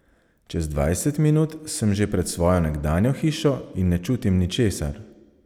Čez dvajset minut sem že pred svojo nekdanjo hišo in ne čutim ničesar.